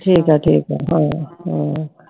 ਠੀਕ ਆ ਠੀਕ ਆ ਹਾਂ ਹਾਂ